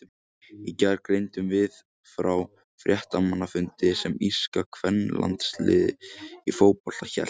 Í gær greindum við frá fréttamannafundi sem írska kvennalandsliðið í fótbolta hélt.